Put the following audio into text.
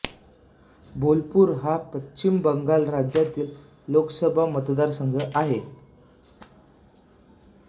बोलपुर हा पश्चिम बंगाल राज्यातील लोकसभा मतदारसंघ आहे